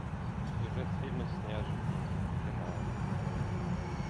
сюжет фильма с неожиданным финалом